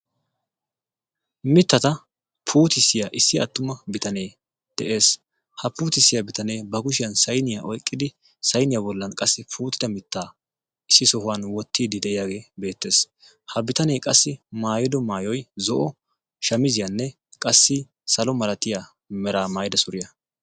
mittata puutissiyaa issi attuma bitanee de7ees ha puutissiyaa bitanee ba gushiyan sainiyaa oiqqidi sainiyaa bollan qassi puutida mittaa issi sohuwan wottiidi de7iyaagee beettees ha bitanee qassi maayido maayoi zo7o shamiziyaanne qassi salo malatiya meraa maayida suriyaa